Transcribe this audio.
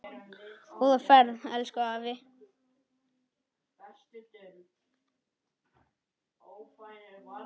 Góða ferð, elsku afi.